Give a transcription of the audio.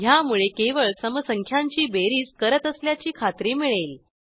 ह्यामुळे केवळ सम संख्यांची बेरीज करत असल्याची खात्री मिळेल